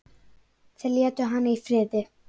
Þeir létu hana í friði.